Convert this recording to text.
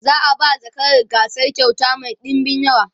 za'a ba zakarar gasar kyauta Mai ɗinbin yawa